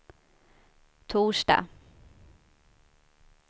torsdag